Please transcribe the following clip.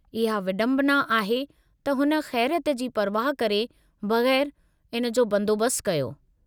इहा विडम्बना आहे त हुन खै़रियत जी परवाह करे बग़ैरु इन जो बंदोबस्त कयो।